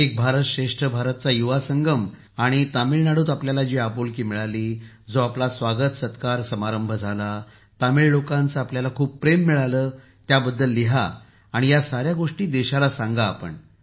एक भारत श्रेष्ठ भारत चा युवा संगम आणि मग तामिळनाडूत आपल्याला जी आपुलकी मिळाली जो आपला स्वागत सत्कार समारंभ झाला तमिळ लोकांचंही आपल्याला खूप प्रेम मिळालं त्याबद्दलही लिहून या साऱ्या गोष्टी देशाला सांगा आपण